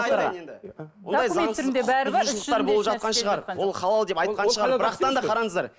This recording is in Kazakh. ондай заңсыз құқықбұзушылықтар болып жатқан шығар ол халал деп айтқан шығар бірақтан да қараңыздар